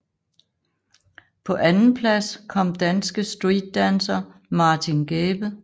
På andenplads kom danske streetdancer Martin Gæbe